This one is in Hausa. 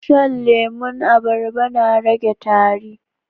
Shan lemon abarba na rage tari